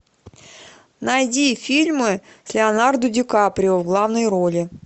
найди фильмы с леонардо ди каприо в главной роли